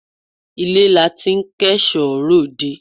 Ilé la ti ń kẹ́ṣọ̀ọ́ ròde